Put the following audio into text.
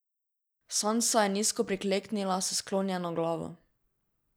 Sansa je nizko prikleknila s sklonjeno glavo.